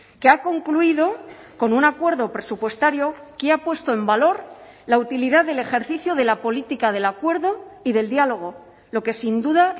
que ha concluido con un acuerdo presupuestario que ha puesto en valor la utilidad del ejercicio de la política del acuerdo y del diálogo lo que sin duda